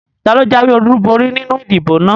Taló jáwé ọlúborí nínu ìdìbò náà?